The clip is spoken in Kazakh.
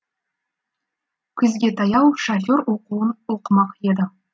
күзге таяу шофер оқуын оқымақ еді